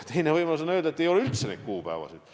Teine võimalus on öelda, et ei ole üldse neid kuupäevasid.